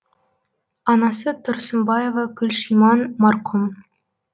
анасы тұрсымбаева күлшиман марқұм